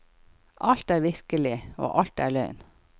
Alt er virkelig, og alt er løgn.